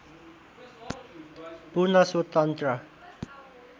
पूर्ण स्वतन्त्र